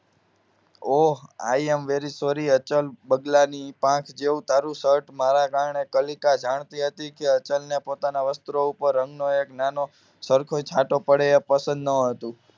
O I am very sorry Achal બગલાની પાંખ જેવું તારું શર્ટ મારા કારણે કલીકા જાણતી હતી કે અચલ ને પોતાના વસ્ત્રો ઉપર રંગનો એક નાનો સરખો છાંટો પડે એ પસંદ ન હતો